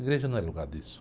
Igreja não é lugar disso.